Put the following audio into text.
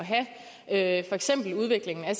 at have udviklingen af